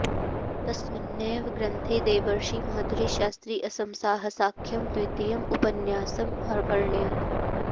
तस्मिन्नेव ग्रन्थे देवर्षि माधुरी शास्त्री असमसाहसाख्यं द्वितीयम् उपन्यासम् अवर्ण्यत्